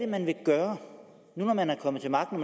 man vil gøre nu hvor man er kommet til magten